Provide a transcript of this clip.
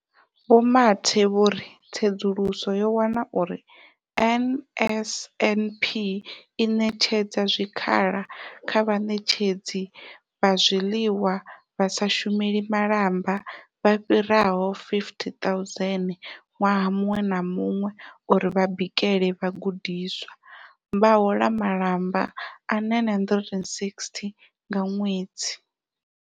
Vho Mathe vho ritsedzuluso yo wana uri NSNP i ṋetshedza zwikhala kha vhaṋetshedzi vha zwiḽiwa vha sa shumeli malamba vha fhiraho 50 000 ṅwaha muṅwe na muṅwe uri vha bikele vhagudiswa, vha hola malamba a R960 nga ṅwedzi.